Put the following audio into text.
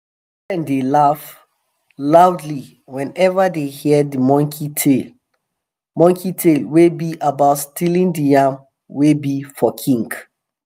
children dey laugh loudly whenever dey hear de monkey tale monkey tale wey be about stealing de yam wey be for king